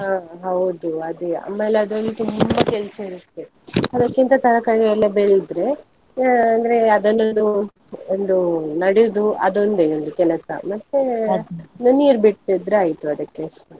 ಹಾ ಹೌದು ಅದೇ ಆಮೇಲೆ ಅದರಲ್ಲಿ ತುಂಬಾ ಕೆಲಸ ಇರುತ್ತೆ, ಅದಕ್ಕಿಂತ ತರಕಾರಿ ಎಲ್ಲ ಬೆಳೆದರೆ ಆ ಅಂದ್ರೆ ಅದನ್ನೊಂದು ಒಂದು ನೆಡೋದು ಅದೊಂದೇ ಒಂದು ಕೆಲ್ಸ, ಒಂದು ನೀರು ಬಿಡ್ತಿದ್ರೆ ಆಯ್ತು ಅದಕ್ಕೆ ಅಷ್ಟೇ.